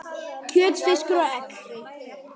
kjöt, fiskur og egg